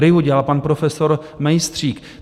RIA dělal pan profesor Mejstřík.